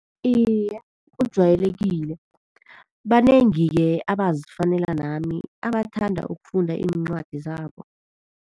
Iye, ujwayelekile. Banengi-ke abazifanele nami abathanda ukufunda iincwadi zabo.